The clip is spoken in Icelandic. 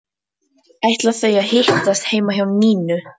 Ætla þau að hittast heima hjá Nínu?